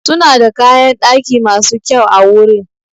Suna da kayan daki masu kyau awurin.